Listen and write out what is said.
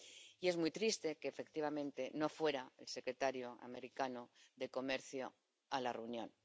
Y es muy triste que, efectivamente, no fuera el secretario norteamericano de Comercio a la reunión.